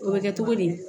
O bɛ kɛ cogo di